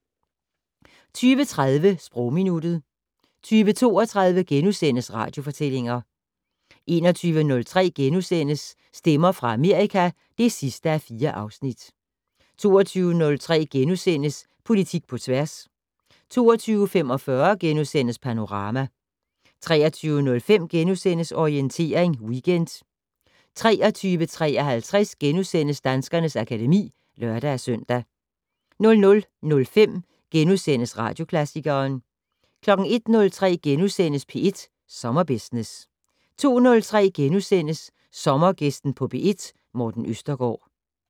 20:30: Sprogminuttet 20:32: Radiofortællinger * 21:03: Stemmer fra Amerika (4:4)* 22:03: Politik på tværs * 22:45: Panorama * 23:05: Orientering Weekend * 23:53: Danskernes akademi *(lør-søn) 00:05: Radioklassikeren * 01:03: P1 Sommerbusiness * 02:03: Sommergæsten på P1: Morten Østergaard *